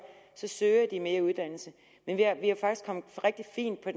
søger de mere uddannelse vi er er faktisk kommet rigtig fint på